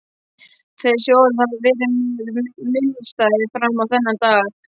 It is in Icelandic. Þessi orð hafa verið mér minnisstæð fram á þennan dag.